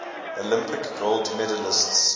olympic gold medalists